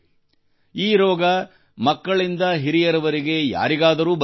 ಈ ರೋಗವು ಮಕ್ಕಳಿಂದ ಹಿರಿಯರವರೆಗೆ ಯಾರಿಗಾದರೂ ಬರಬಹುದು